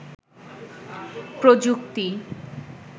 প্রযুক্তি